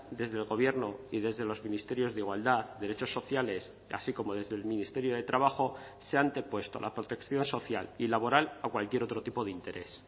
desde el gobierno y desde los ministerios de igualdad derechos sociales así como desde el ministerio de trabajo se ha antepuesto la protección social y laboral a cualquier otro tipo de interés